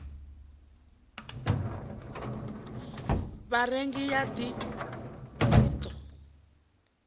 vharengi ya dti i ḓo